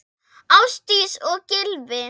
Ásdís og Gylfi.